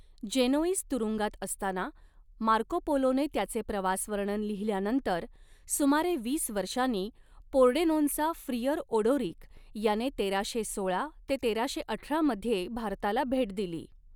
Genoese तुरुंगात असताना Marco पोलोने त्याचे प्रवासवर्णन लिहिल्यानंतर सुमारे वीस वर्षांनी पोर्डेनोनचा फ्रियर ओडोरिक याने तेराशे सोळा ते तेराशे अठरा मध्ये भारताला भेट दिली.